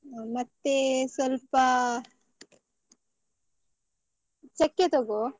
ಹೌದು ಮತ್ತೆ ಸ್ವಲ್ಪ ಚೆಕ್ಕೆ ತಗೋ.